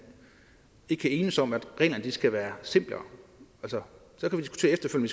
ikke kan enes om at reglerne skal være simplere så kan vi